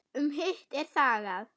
Um hitt er þagað.